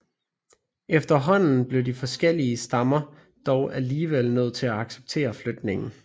Efterhånden blev de forskellige stammer dog alligevel nødt til at acceptere flytningen